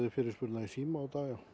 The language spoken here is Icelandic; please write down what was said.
fyrirspurna í síma í dag